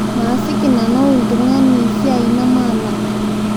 Maasiki nanau ltungani siai namaalak